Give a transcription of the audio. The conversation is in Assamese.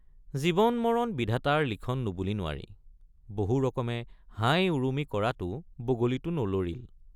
জীৱনমৰণ বিধাতাৰ লিখন নুবুলি নোৱাৰি বহু ৰকমে হাইউৰুমি কৰাতো বগলীটো নলৰিল।